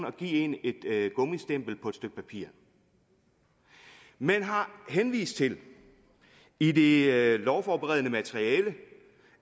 og give en et gummistempel på et stykke papir man har henvist til i det lovforberedende materiale